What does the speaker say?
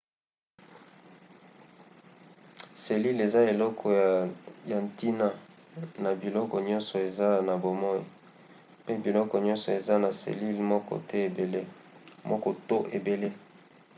selile eza eloko ya ntina na biloko nyonso eza na bomoi pe biloko nioso eza na selile moko to ebele